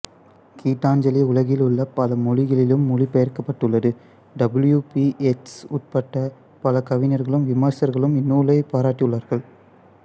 கீதாஞ்சலி உலகிலுள்ள பல மொழிகளிலும் மொழி பெயர்க்கப்பட்டுள்ளது டபுள்யு பீ ஏட்ஸ் உட்பட பல கவிஞர்களும் விமர்சகர்களும் இந்நூலைப் பாராட்டியுள்ளார்கள்